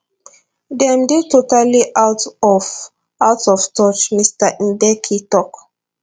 dem dey totally out of out of touch mr mbeki tok